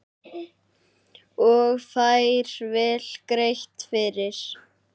Og fær vel greitt fyrir.